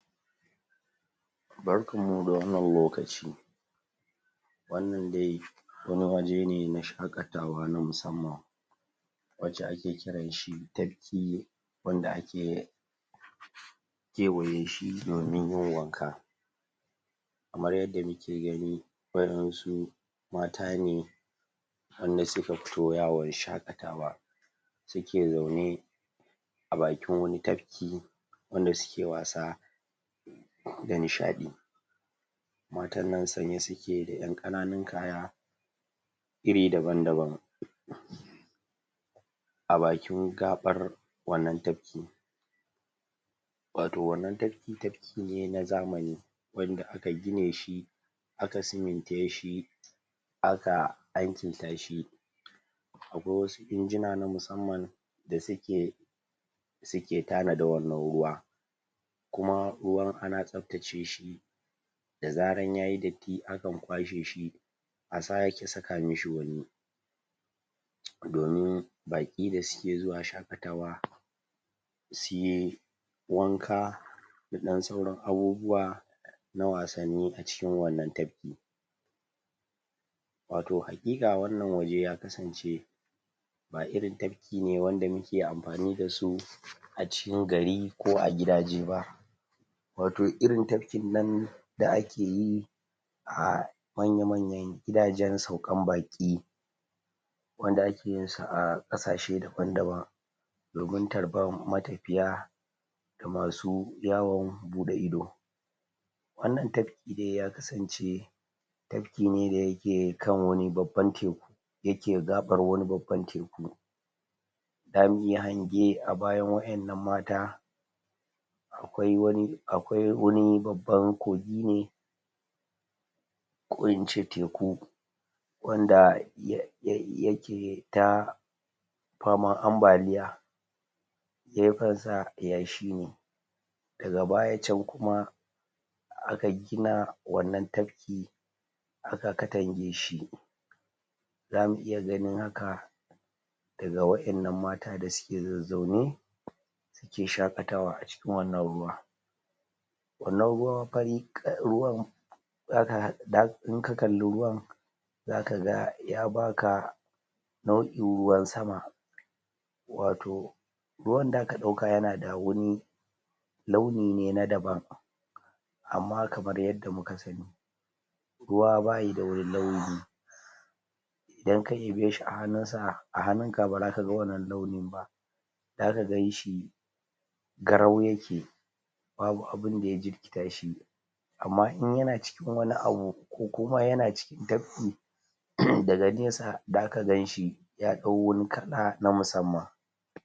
barkan mu da wannan lokaci wannan dai wani waje ne na shakatawa na musamman wanda ake kiranshi tafki wanda ake aka kewayeshi domin yin wanka kamar yadda muke gani wasu mata ne mata ne wanda suka fito yawon shakatawa suke zaune a bakin wani tafki wanda suke wasa da nishadi matan nan sanye suke da yan kananun kaya iri daban daban a bakin gaɓar wanan tafki wato wannan tafki tafki ne na zamani wanda aka gineshi aka simintashi aka alkintashi akwai wasu injinuna na musamman da suke tana da wannan ruwa kuma ruwan ana tsaftace shi da zarar ruwan yayi datti akan kwashe shi a sake saka mishi wani domin baki da suke zuwa shakatawa suyi wanka da dan sauran abubuwa na wassani acikin wannan tafki wato haqiqa wannan waje ya kasance ba irin tafki ne da muke amfani da su acikin gari ko a gidaje ba wato irin tafkin nan da akeyi manya manyan gidajen saukan baki wanda akeyinsu a kasashe daban daban domin tarban matafiya da masu yawon bude ido wannan tafki dai ya kasance tafki ne da yake kan wani babban teku yake gabar babbar teku damuyi hange a bayan wayan nan mata akwai wani babban kogi ne ko ince teku wanda yake ta faman ambaliya gefen sa yashi ne daga bayan can kuma aka gina wannan tafki aka katange shi zamu iya ganin haka daga wadan nan mata dasuk zazzaune suke shakatawa acikin wannan ruwa wannan ruwa fari kal da kaga in ka kalli ruwan zakaga ya baka nau'in ruwan sama wato ruwan da ka dauka yana da wani launi ne na daban amma kamar yadda muka sani ruwa bayi da wani launi idan ka ɗebeshi a hannunka bazaka wannan launin ba da ka ganshi garau yake babu abunda ya jirkitashi amma in yana cikin abu ko yana cikin tafki da ga nesa zaka ganshi ya dau wani kala na musamman